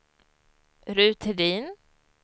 Ruth Hedin